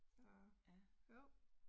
Og jo